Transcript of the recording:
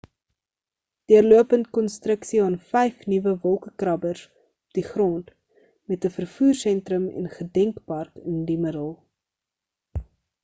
deurlopende konstruksie aan vyf nuwe wolkekrabbers op die grond met 'n vervoersentrum en gedenkpark in die middel